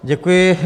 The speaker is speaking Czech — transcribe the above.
Děkuji.